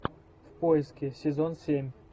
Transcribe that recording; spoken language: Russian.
в поиске сезон семь